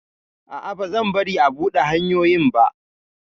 A'a, bazan bari a buɗe hanyoyin ba!